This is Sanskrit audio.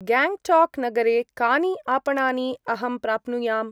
ग्याङ्ग्टाक्-नगरे कानि आपणानि अहं प्राप्नुयाम्?